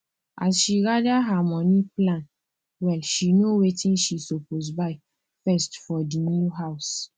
as she gather her money plan well she know wetin she suppose buy first for the new house